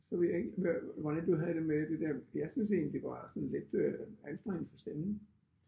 Så ved jeg ikke hvordan du havde det med det der jeg synes egentlig det var sådan lidt øh anstrengende for stemmen